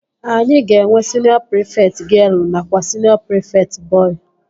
Anyị ga-enwe siniọ prịfekt gịel nakwa siniọ prịfekt bọị